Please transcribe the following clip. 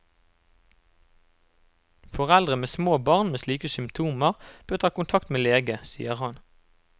Foreldre med små barn med slike symptomer bør ta kontakt med lege, sier han.